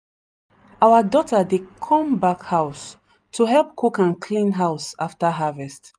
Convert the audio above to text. our daughter dey come back house to help cook and clean house after harvest.